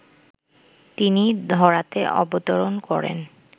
তিনি ধরাতে অবতরণ করেন